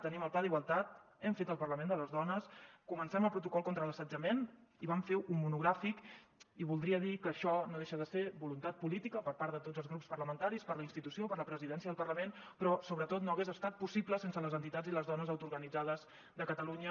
tenim el pla d’igualtat hem fet el parlament de les dones comencem el protocol contra l’assetjament i vam fer un monogràfic i voldria dir que això no deixa de ser voluntat política per part de tots els grups parlamentaris per la institució per la presidència del parlament però sobretot no hagués estat possible sense les entitats i les dones autoorganitzades de catalunya